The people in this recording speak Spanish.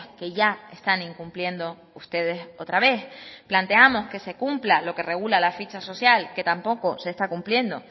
que ya están incumpliendo ustedes otra vez planteamos que se cumpla lo que regula la ficha social que tampoco se está cumpliendo